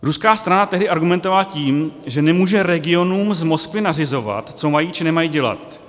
Ruská strana tehdy argumentovala tím, že nemůže regionům z Moskvy nařizovat, co mají či nemají dělat.